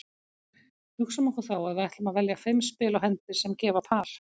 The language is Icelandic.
Hugsum okkur þá að við ætlum að velja fimm spil á hendi sem gefa par.